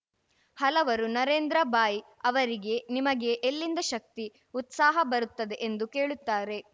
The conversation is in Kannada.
ಹಲವರು ನರೇಂದ್ರ ಭಾಯಿ ಅವರಿಗೆ ನಿಮಗೆ ಎಲ್ಲಿಂದ ಶಕ್ತಿ ಉತ್ಸಾಹ ಬರುತ್ತದೆ ಎಂದು ಕೇಳುತ್ತಾರೆ